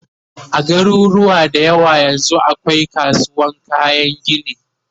a garuruwa da yawa yanzun akwai kasuwan kayan gini